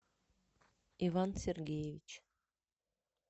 иван сергеевич